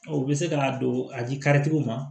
O bɛ se ka don a di karitigiw ma